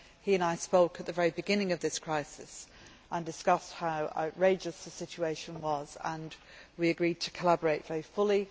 He and I spoke at the very beginning of this crisis and discussed how outrageous the situation was, and we agreed to collaborate very fully.